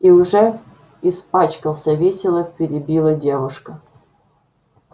и уже испачкался весело перебила девушка